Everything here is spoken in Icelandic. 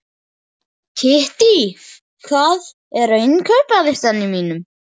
Kittý, hvað er á innkaupalistanum mínum?